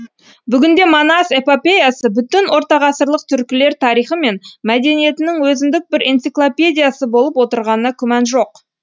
бүгінде манас эпопеясы бүтін ортағасырлық түркілер тарихы мен мәдениетінің өзіндік бір энциклопедиясы болып отырғанына күмән жоқ